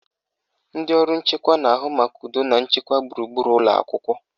Ndị ọrụ nchekwa na-ahụ maka udo na nchekwa gburugburu ụlọakwụkwọ